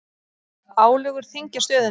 Álögur þyngja stöðuna